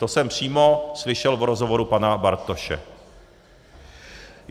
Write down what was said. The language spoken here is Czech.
To jsem přímo slyšel v rozhovoru pana Bartoše.